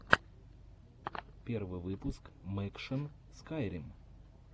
первый выпуск мэкшан скайрим